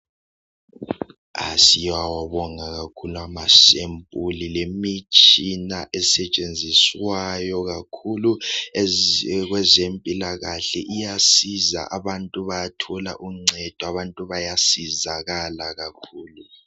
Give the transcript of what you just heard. A siyawabonga kakhulu amasempuli lemitshina esetshenziswayo kakhulu kwezempilakahle iyasiza abantu bayathola uncedo abantu bayasizakala kakhulu.